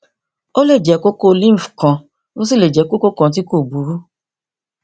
ó lè jẹ kókó lymph kan ó sì lè jẹ kókó kan tí kò burú